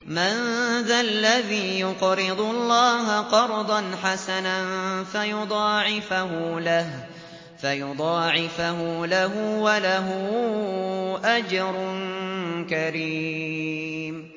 مَّن ذَا الَّذِي يُقْرِضُ اللَّهَ قَرْضًا حَسَنًا فَيُضَاعِفَهُ لَهُ وَلَهُ أَجْرٌ كَرِيمٌ